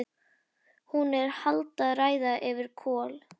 Hún er að halda ræðu yfir Kol